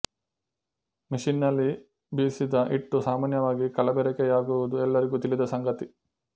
machine ನಲ್ಲಿ ಬೀಸಿದ ಹಿಟ್ಟು ಸಾಮಾನ್ಯವಾಗಿ ಕಲಬೆರಕೆ ಯಾಗುವುದು ಎಲ್ಲರಿಗೂ ತಿಳಿದ ಸಂಗತಿ